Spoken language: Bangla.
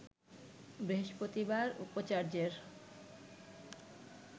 বৃহস্পতিবার উপাচার্যের